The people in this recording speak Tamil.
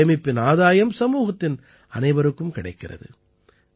இந்தச் சேமிப்பின் ஆதாயம் சமூகத்தின் அனைவருக்கும் கிடைக்கிறது